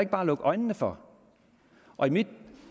bare lukke øjnene for